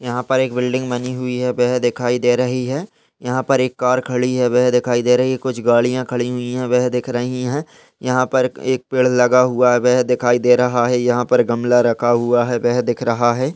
यहाँ पर एक बिल्डिंग बनी हुई है। वह दिखाई दे रही है। यहाँ पर एक कार खड़ी है। वह दिखाई दे रही है। कुछ गाड़ियाँ खड़ी हुई हैं वह दिख रही हैं। यहाँ पर एक पेड़ लगा हुआ है वह दिखाई दे रहा है। यहाँ पर गमला रखा हुआ है वह दिख रहा है।